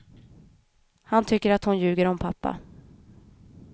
Han tycker att hon ljuger om pappa.